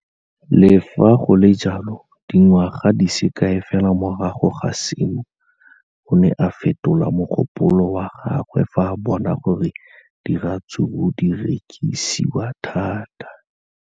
Le fa go le jalo, dingwaga di se kae fela morago ga seno, o ne a fetola mogopolo wa gagwe fa a bona gore diratsuru di rekisiwa thata.